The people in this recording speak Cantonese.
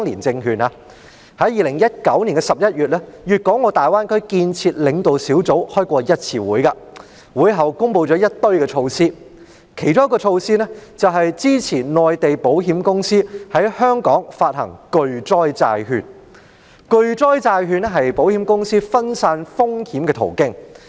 在2019年11月，粵港澳大灣區建設領導小組曾舉行一次會議，會後，中央政府公布了一連串的措施，其中一項措施是支持內地保險公司在香港發行巨災債券，而巨災債券是保險公司分散風險的途徑。